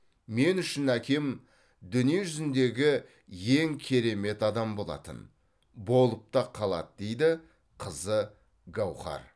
мен үшін әкем дүние жүзіндегі ең керемет адам болатын болып та қалады дейді қызы гауһар